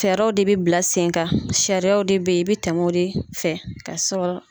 Sariyaw de bɛ bila sen kan, sariyaw de bɛ yen i bɛ tɛmɛ o de fɛ ka sɔrɔ.